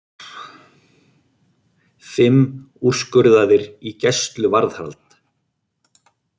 Fimm úrskurðaðir í gæsluvarðhald